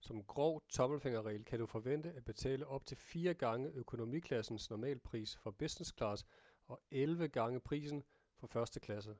som grov tommelfingerregel kan du forvente at betale op til fire gange økonomiklassens normalpris for business-class og elleve gange prisen for første klasse